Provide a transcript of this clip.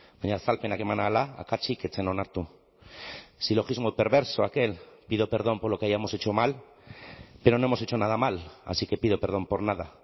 baina azalpenak eman ahala akatsik ez zen onartu silogismo perverso aquel pido perdón por lo que hayamos hecho mal pero no hemos hecho nada mal así que pido perdón por nada